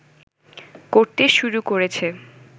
করতে শুরু করেছে